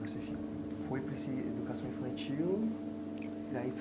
Você foi para esse educação infantil e aí